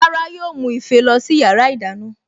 Rárá yóò mú ife lọ sí yàrá ìdáná